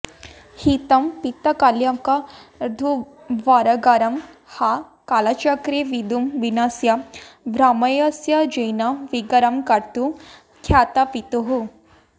हीतं पीतकलङ्कदुर्भरगरं हा कालचक्रे विधुं विन्यस्य भ्रमयस्यजेन विगरं कर्तुं रवात्तत्पितुः